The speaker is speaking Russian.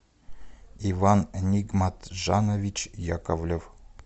иван нигматжанович яковлев